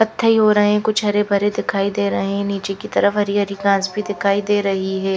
कत्थई हो रहे हैं कुछ हरे भरे दिखाई दे रहे हैं नीचे की तरफ हरी हरी घास भी दिखाई दे रही है।